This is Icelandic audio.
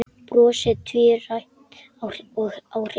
Brosið tvírætt á Kristi.